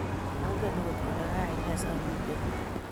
Mengen agot kole kaine samite yu